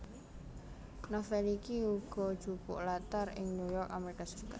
Novel iki uga jupuk latar ing New York Amerika Serikat